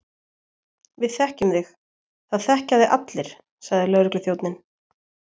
Við þekkjum þig, það þekkja þig allir sagði lögregluþjónninn.